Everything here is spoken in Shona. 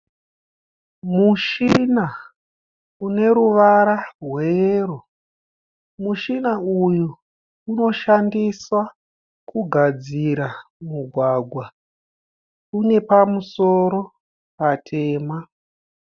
Mushina une ruvara rweyero. Mushina uyu unoshandiswa kugadzira mugwagwa. Une pamusoro patema.